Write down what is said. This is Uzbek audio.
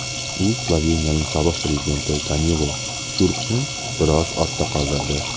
U Sloveniyaning sobiq prezidenti Danilo Tyurkni biroz ortda qoldirdi.